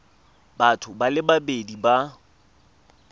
batho ba le babedi ba